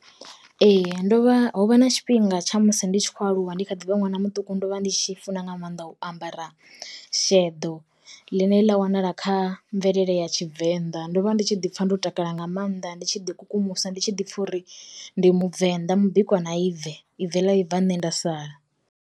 Ee ndovha ho vha na tshifhinga tsha musi ndi tshi khou aluwa ndi kha ḓi vha ṅwana muṱuku, ndo vha ndi tshi funa nga maanḓa u ambara sheḓo, ḽine ḽa wanala kha mvelele ya tshivenḓa. Ndo vha ndi tshi ḓi pfa ndo takala nga maanḓa ndi tshi ḓi kukumusa ndi tshi ḓi pfha uri ndi muvenḓa mubikwa na ibve ibve ḽa vhibva nṋe nda sala.